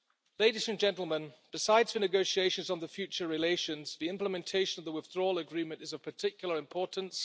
Ladies and gentlemen, besides the negotiations on the future relations, the implementation of the Withdrawal Agreement is of particular importance.